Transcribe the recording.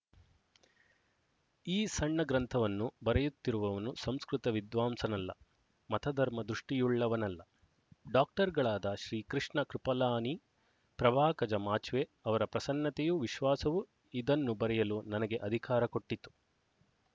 ಈ ಸಣ್ಣ ಗ್ರಂಥವನ್ನು ಬರೆಯುತ್ತಿರುವವನು ಸಂಸ್ಕೃತ ವಿದ್ವಾಂಸನಲ್ಲ ಮತಧರ್ಮ ದೃಷ್ಟಿಯುಳ್ಳವನಲ್ಲ ಡಾಕ್ಟರ್ಗಳಾದ ಶ್ರೀ ಕೃಷ್ಣ ಕೃಪಲಾನಿ ಪ್ರಭಾಕಜ ಮಾಚ್ವೆ ಅವರ ಪ್ರಸನ್ನತೆಯೂ ವಿಶ್ವಾಸವೂ ಇದನ್ನು ಬರೆಯಲು ನನಗೆ ಅಧಿಕಾರ ಕೊಟ್ಟಿತು